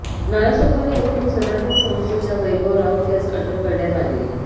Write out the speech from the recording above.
नालासोपारा येथून सनातन संस्थेच्या वैभव राऊत यास अटक करण्यात आली